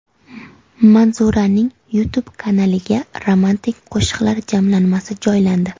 Manzuraning YouTube kanaliga romantik qo‘shiqlari jamlanmasi joylandi.